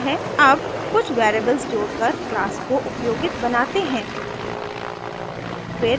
अब कुछ वेरिएबल्स जोड़कर class को उपयोगित बनाते हैं